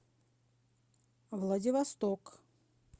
владивосток